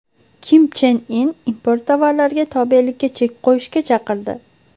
Kim Chen In import tovarlarga tobelikka chek qo‘yishga chaqirdi.